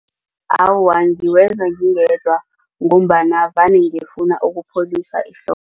Awa, ngiwenza ngingedwa ngombana vane ngifuna ukupholisa